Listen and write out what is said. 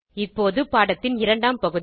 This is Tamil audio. இப்போது பாடத்தின் இரண்டாம் பகுதி